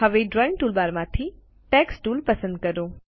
હવે ડ્રોઇંગ ટૂલબારમાંથી text tool પસંદ કરો